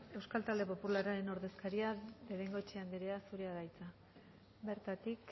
euskal talde popularraren ordezkaria de bengoechea anderea zurea da hitza bertatik